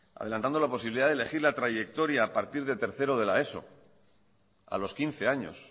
adelantando la posibilidad de elegir la trayectoria a partir de tercero de la eso a los quince años